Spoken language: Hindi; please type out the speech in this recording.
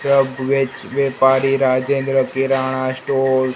यह पारी राजेंद्र किराना स्टोर --